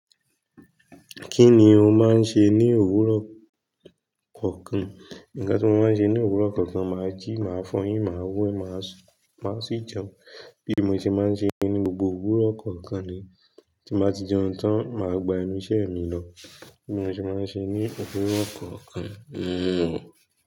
Kí ni o máa ń ṣe ní òwúrọ̀ kọ̀ọ̀kan? Ǹkan tí mo máa ń ṣe ní òwúrọ̀ kọ̀ọ̀kan, màá jí, màá fọyín, màá wé, màá sí jẹun. Bí mo ṣe máa ń ṣe ní gbogbo òwúrọ̀ kọ̀ọ̀kan ni. Tí mbà ti jẹun tán, màá gba enu ṣẹ́ mi lọ. Bí mo ṣe máa ń ṣe ní òwúrọ̀ kọ̀ọ̀kan.